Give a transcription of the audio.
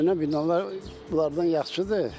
Köhnə binalar bunlardan yaxşıdır.